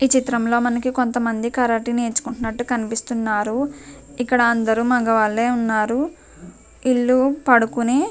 ఈ చిత్రంలో మనకి కొంతమంది కరాటి నేర్చుకుంటున్నటు కనిపిస్తున్నారు ఇక్కడ అందరూ మగవారే ఉన్నారు ఇల్లు పడుకునే --